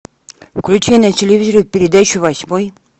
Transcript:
включай на телевизоре передачу восьмой